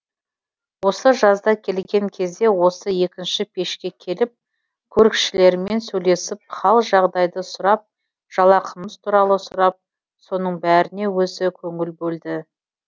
осы жазда келген кезде осы екінші пешке келіп көрікшілермен сөйлесіп хал жағдайды сұрап жалақымыз туралы сұрап соның бәріне өзі көңіл бөлді